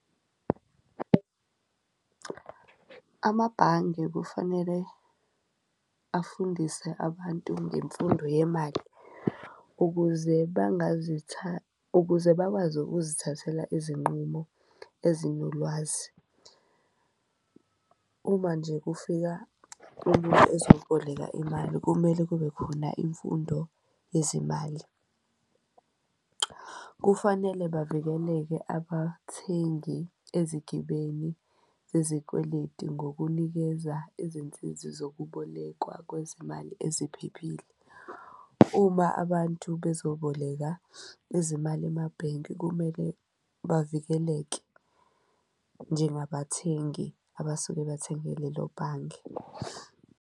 Amabhange kufanele afundise abantu ngemfundo yemali ukuze ukuze bakwazi ukuzithathela izinqumo ezinolwazi uma nje kufika umuntu ezoboleka imali, kumele kube khona imfundo yezimali. Kufanele bavikeleke abathengi ezigibeni zezikweleti ngokunikeza izinsizi zokubolekwa kwezimali eziphephile. Uma abantu bezoboleka izimali emabhenki kumele bavikeleke njengabathengi abasuke bathenge lelo bhange.